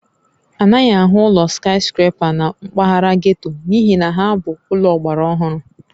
A naghị ahụ ụlọ skaịskrepa na mpaghara getto n'ihi na ha bụ ụlọ ọgbara ọhụrụ